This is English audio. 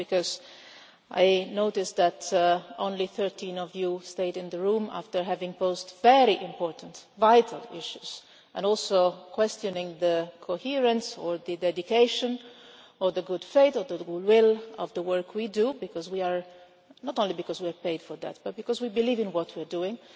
also because I noticed that only 13 of you have stayed in the room after having posed very important vital issues and after also questioning the coherence, or the dedication, or the good faith, or the good will of the work we do not only because we are paid for that but because we believe in what we are doing.